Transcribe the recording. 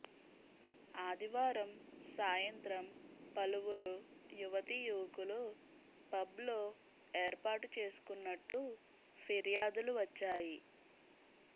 ఆదివారం సాయంత్రం పలువురు యువతీ యువకులు పబ్లో ఏర్పాటు చేసుకున్నట్టు ఫిర్యాదులు వచ్చాయి